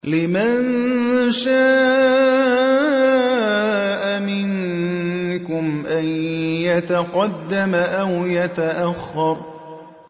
لِمَن شَاءَ مِنكُمْ أَن يَتَقَدَّمَ أَوْ يَتَأَخَّرَ